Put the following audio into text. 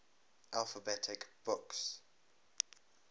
alphabet books